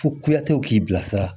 Fo kuyatew k'i bilasira